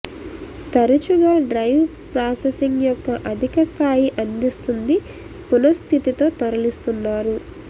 తరచుగా drive processing యొక్క అధిక స్థాయి అందిస్తుంది పునఃస్థితి తో తరలిస్తున్నారు